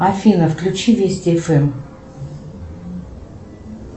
афина включи вести фм